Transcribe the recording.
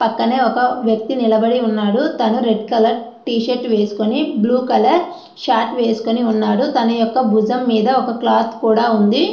పక్కనే ఒక వ్యక్తి నిలబడి ఉన్నాడు. అతను రెడ్ కలర్ టీ షర్ట్ వేసుకొని బ్లూ కలర్ షర్ట్ వేసుకున్నాడు. భుజం మీద ఒక క్లాత్ కూడా ఉంది.